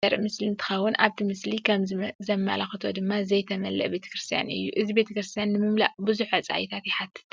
እዚ ቤተክርስትያን ዘርኢ ምስሊ እንትከውን ኣብቲ ምስሊ ከም ዘመላክቶ ድማ ዘይተመለአ ቤተክርስትያን እዩ ። እዚ ቤተክርስትያን ንምምላእ ቡዙሕ ወፃኢታት ይሓትት ።